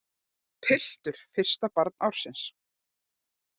Piltur fyrsta barn ársins